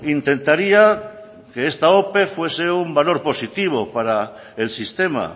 intentaría que esta ope fuese un valor positivo para el sistema